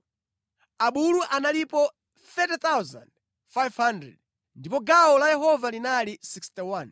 abulu analipo 30,500 ndipo gawo la Yehova linali 61;